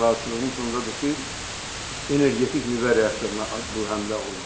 Narazıçılığımızın onda-dır ki, energetik nüvə reaktoruna bu həmlə olunmasın.